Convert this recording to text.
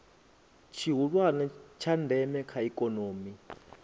tshihulwane tsha ndeme kha ikomoni